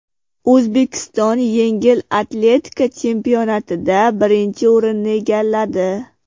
O‘zbekiston yengil atletika chempionatida birinchi o‘rinni egalladi.